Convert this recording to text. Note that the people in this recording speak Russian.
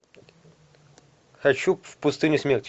хочу в пустыню смерти